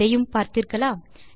இதையும் பார்த்தீர்களா